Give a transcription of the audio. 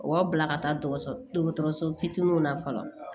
O b'a bila ka taa dɔgɔtɔrɔso fitininw la fɔlɔ